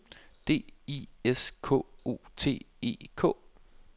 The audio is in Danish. D I S K O T E K